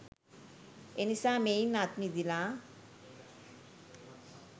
එනිසා මෙයින් අත්මිදිලා